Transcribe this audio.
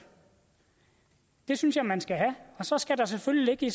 det synes jeg man skal have og så skal der selvfølgelig ligge i